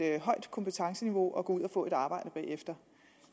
højt kompetenceniveau og gå ud og få et arbejde bagefter